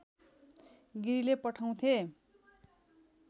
गिरीले पढाउँथे